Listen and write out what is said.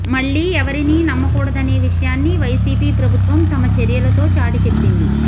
మళ్లీ ఎవరినీ నమ్మకూడదనే విషయాన్ని వైసీపీ ప్రభుత్వం తమ చర్యలతో చాటి చెప్పింది